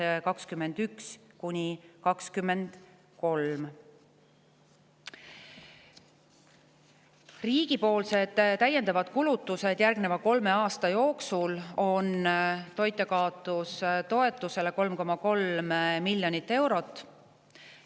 Riigi täiendavad kulutused toitjakaotustoetusele järgneva kolme aasta jooksul on 3,3 miljonit eurot.